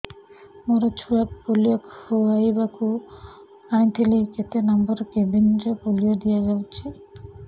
ମୋର ଛୁଆକୁ ପୋଲିଓ ଖୁଆଇବାକୁ ଆଣିଥିଲି କେତେ ନମ୍ବର କେବିନ ରେ ପୋଲିଓ ଦିଆଯାଉଛି